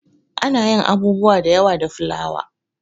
Ana yin abubuwa da yawa da fulawa.